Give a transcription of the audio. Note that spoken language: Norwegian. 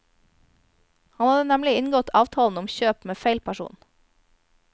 Han hadde nemlig inngått avtalen om kjøp med feil person.